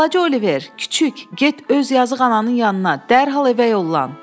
Balaca Oliver, kiçik, get öz yazıq ananın yanına, dərhal evə yollan.